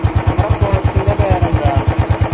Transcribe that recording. നമ്മുടെ coach ന്റെ പേരെന്താ